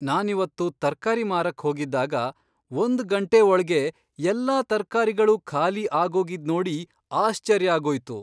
ನಾನಿವತ್ತು ತರ್ಕಾರಿ ಮಾರಕ್ ಹೋಗಿದ್ದಾಗ ಒಂದ್ ಗಂಟೆ ಒಳ್ಗೇ ಎಲ್ಲ ತರ್ಕಾರಿಗಳೂ ಖಾಲಿ ಆಗೋಗಿದ್ ನೋಡಿ ಆಶ್ಚರ್ಯ ಆಗೋಯ್ತು.